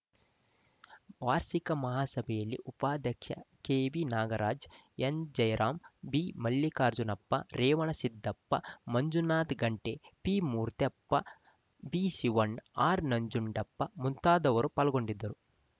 ವಾರ್ಷಿಕ ಮಹಾಸಭೆಯಲ್ಲಿ ಉಪಾಧ್ಯಕ್ಷ ಕೆಬಿ ನಾಗರಾಜ ಎನ್‌ಜೈರಾಮ್‌ ಬಿಮಲ್ಲಿಕಾರ್ಜುನಪ್ಪ ರೇವಣಸಿದ್ದಪ್ಪ ಮಂಜುನಾಥ ಗಂಟಿ ಪಿಮೂರ್ತ್ಯಪ್ಪ ಬಿಶಿವಣ್ಣ ಆರ್‌ನಂಜುಡಪ್ಪ ಮುಂತಾದವರು ಪಾಲ್ಗೊಂಡಿದ್ದರು